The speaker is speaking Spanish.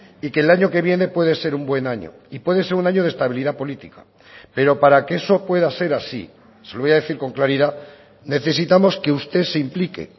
y que el año que viene puede ser un buen año y puede ser un año de estabilidad política pero para que eso pueda ser así se lo voy a decir con claridad necesitamos que usted se implique